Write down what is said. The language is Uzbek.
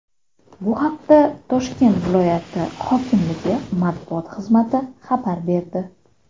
Bu haqda Toshkent viloyati hokimligi matbuot xizmati xabar berdi .